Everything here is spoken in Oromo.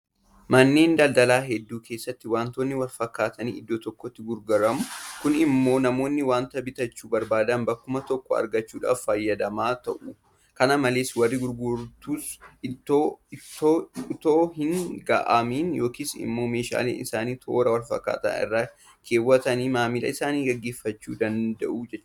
Manneen daldalaa hedduu keessatti waantonni walfakkaatan iddoo tokkotti gurguramu. Kun immoo namoonni waanta bitachuu barbaadan bakkuma tokko argachuudhaan fayyadamaa ta'u. Kana malees warri gurguratus itoo hin gaaga'amin yookiin immoo meeshaalee isaanii toora walfakkaataa irra keewwatanii maamila isaanii gaggeeffachuu danda'u jechuudha.